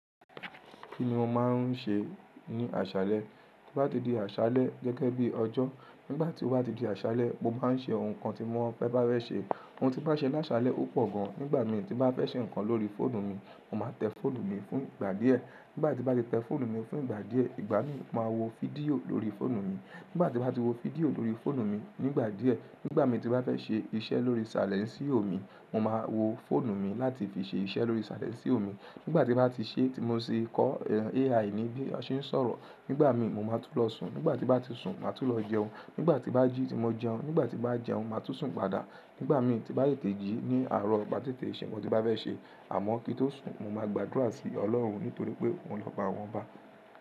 Kí ni mo máa ń ṣe ní àṣálẹ́? To bá ti di àṣálẹ́ gẹ́gẹ́ bí ọjọ́, nígbà tí ó bá ti di àṣálẹ́, mo bá ń ṣe awon nkan tí mo fẹ́ bá fẹ̀ ṣe. Ohun tí n bá ṣẹ́ ní àṣálẹ́ ó pọ̀ gan. Nígbà mi tí n bá fẹ́ ṣe nǹkan lórí fóònù mi, mo máa tẹ́ fóònù mi fún ìgbà díẹ̀. Nígbà tí n bá ti tẹ́ fóònù mi fún ìgbà díẹ̀, ìgbà mi máa wo fídíò lórí fóònù mi. Nígbà tí n bá ti wo fídíò lórí fóònù mi, nígbà díẹ̀, nígbà mi tí bá fẹ́ ṣe iṣẹ́ lórí salẹńsío òmi, mo máa wo fóònù mi láti fi ṣe iṣẹ́ lórí sàlẹńsí òmi. Nígbà tí n bá ti ṣẹ́ tí mo tì kọ AI ní bí wón ṣe ń sọ̀rọ̀, nígbà mi mo máa tú lọ sùn. Nígbà tí n bá ti sùn, màá tún lọ jẹun. Nígbà tí n bá jí ti mo jẹun, nígbà tí n bá jẹun, màá tún sùn padà. Nígbà mi tí n bá tètẹ́jì ní àárọ̀ maá tètè ṣe ohun tí n bá fẹ́ ṣe, àmọ́ kí tó sùn, mo máa gbàdúrà sí Ọlọ́run nítorí pé òun lóba àwọn oba.